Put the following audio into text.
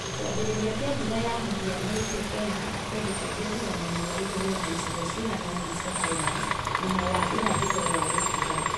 Ki͂ambi͂ri͂ria ki͂a mbura ya mu͂hiano gi͂ti͂ri ki͂onekana ku͂ndu͂ ku͂ingi͂ tiga mwena wa ithu͂i͂ro na icigo cigana u͂na cia Highlands mwena wa irathi͂ro wa Rift Valley.